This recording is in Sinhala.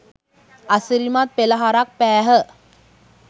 අසිරිමත් පෙළහරක් පෑහ.